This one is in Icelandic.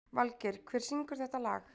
Valgeir, hver syngur þetta lag?